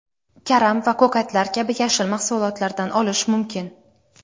karam va ko‘katlar kabi yashil mahsulotlardan olish mumkin.